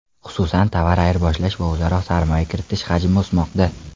Xususan, tovar ayirboshlash va o‘zaro sarmoya kiritish hajmi o‘smoqda.